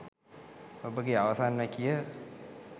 ඔබගේ අවසන් වැකිය